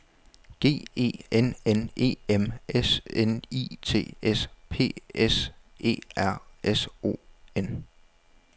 G E N N E M S N I T S P S E R S O N